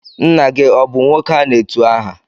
Nna gị ọ bụ nwoke a na-etu aha?